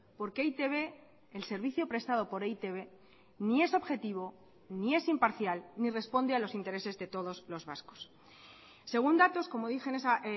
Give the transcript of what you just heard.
porque e i te be el servicio prestado por e i te be ni es objetivo ni es imparcial ni responde a los intereses de todos los vascos según datos como dije en esa